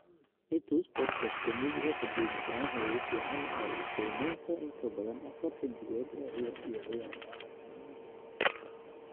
i tus podcast-ka muusiga qadiimiga ah ee ugu fiican oo leh qiimaynta in ka badan afar xiddigood iyo ciyaar